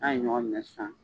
N'a ye ɲɔgɔn minɛ sisan.